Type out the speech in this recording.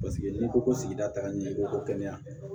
Paseke n'i ko ko sigida tagalen i ko ko kɛnɛya